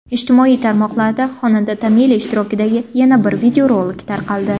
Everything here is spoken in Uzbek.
Ijtimoiy tarmoqlarda xonanda Tamila ishtirokidagi yana bir videorolik tarqaldi.